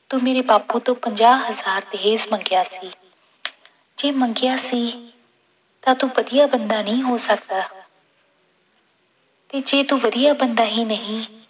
ਤੂੰ ਮੇਰੇ ਬਾਪੂ ਤੋਂ ਪੰਜਾਹ ਹਜ਼ਾਰ ਦਹੇਜ਼ ਮੰਗਿਆ ਸੀ ਜੇ ਮੰਗਿਆ ਸੀ ਤਾਂ ਤੂੰ ਵਧੀਆ ਬੰਦਾ ਨਹੀਂ ਹੋ ਸਕਦਾ ਤੇ ਜੇ ਤੂੰ ਵਧੀਆ ਬੰਦਾ ਹੀ ਨਹੀਂ